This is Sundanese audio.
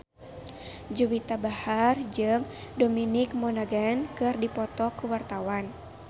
Juwita Bahar jeung Dominic Monaghan keur dipoto ku wartawan